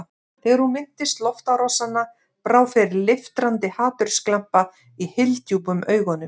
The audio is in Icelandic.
Þegar hún minntist loftárásanna brá fyrir leiftrandi hatursglampa í hyldjúpum augunum.